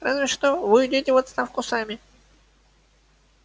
разве что вы уйдёте в отставку сами